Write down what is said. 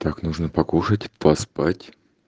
так нужно покушать поспать